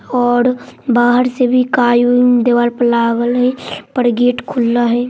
और बाहर से भी काई-वेई दीवार पर लागल हई पर गेट खुला हई।